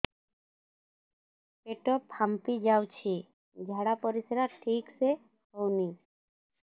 ପେଟ ଫାମ୍ପି ଯାଉଛି ଝାଡ଼ା ପରିସ୍ରା ଠିକ ସେ ହଉନି